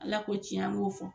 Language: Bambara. Ala k'o tiɲɛ an k'o fɔ